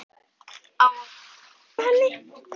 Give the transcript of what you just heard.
Á að vera sammála henni.